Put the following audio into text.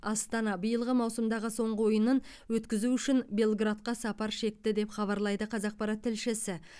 астана биылғы маусымдағы соңғы ойынын өткізу үшін белградқа сапар шекті деп хабарлайды қазақпарат тілшісі